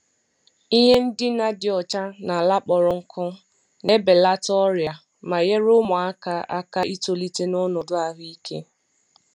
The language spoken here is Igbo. Ihe ndina dị ọcha na ala kpọrọ nkụ na-ebelata ọrịa ma nyere ụmụaka aka itolite n’ọnọdụ ahụike.